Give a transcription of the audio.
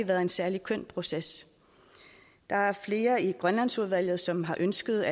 været en særlig køn proces der er flere i grønlandsudvalget som har ønsket